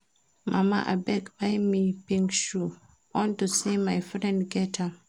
Mama abeg buy me pink shoe unto say my friend get am